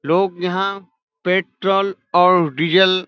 लोग यहां पेट्रोल और डिजल --